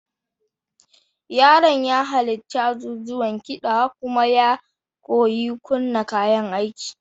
Yaron ya halarci azuzuwan kiɗa kuma ya koyi kunna kayan aiki.